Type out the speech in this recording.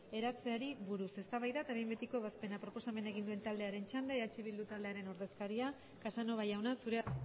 eratzeari buruz eztabaida eta behin betiko ebazpena proposamena egin duen taldearen txanda eh bildu taldearen ordezkaria casanova jauna zurea